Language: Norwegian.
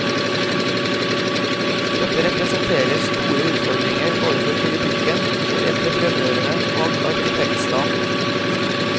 Dette representerer store utfordringer både for politikken, for entreprenørene og for arkitektstanden.